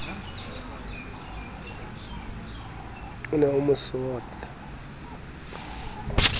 o ne o mo sotla